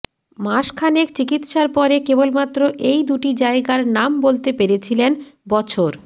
মাসখানেক চিকিৎসার পরে কেবলমাত্র এই দুটি জায়গার নাম বলতে পেরেছিলেন বছর